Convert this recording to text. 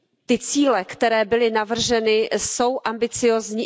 Ty cíle, které byly navrženy, jsou ambiciózní.